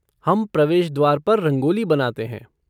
हम प्रवेश द्वार पर रंगोली बनाते हैं।